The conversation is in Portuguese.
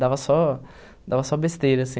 Dava só dava só besteira, assim,